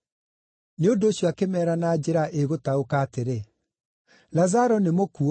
Nĩ ũndũ ũcio akĩmeera na njĩra ĩgũtaũka, atĩrĩ, “Lazaro nĩmũkuũ,